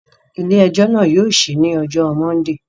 Ile-ẹjọ naa yóò ṣii ni ọjọ Mọndee